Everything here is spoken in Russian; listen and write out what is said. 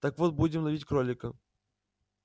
так вот будем ловить кролика